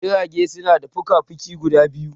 Jirage suna da fuka fukai guda biyu